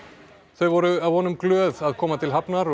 þau voru að vonum glöð að koma til hafnar